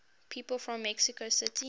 people from mexico city